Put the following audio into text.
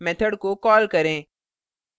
method को call करें